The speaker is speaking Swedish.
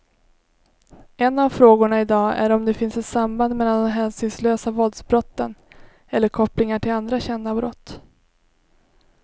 En av frågorna i dag är om det finns ett samband mellan de hänsynslösa våldsbrotten eller kopplingar till andra kända brott.